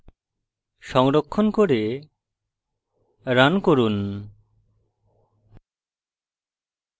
সংরক্ষণ করে run run